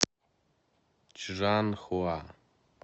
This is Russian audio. чжанхуа